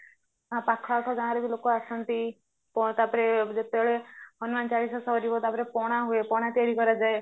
ପାଖ ଆଖ ଗାଁରେବି ଲୋକ ଆସନ୍ତି ତାପରେ ଯେତେବେଳେ ହନୁମାନ ଚାଳିଶା ସରିବ ତାପରେ ପଣା ହୁଏ ପଣା ତିଆରି କରାଯାଏ